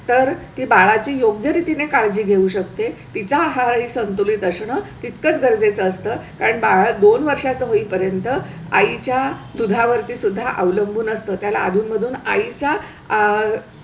तर ती बाळाची योग्य रीतीने काळजी घेऊ शकते. तिचे आहार संतुलित असन तितकंच गरजेचं असतं. कारण बारा दोन वर्षांचे होईपर्यंत आईच्या दुधा वरती सुद्धा अवलंबून असतो. त्याला अधून मधून आईचा आह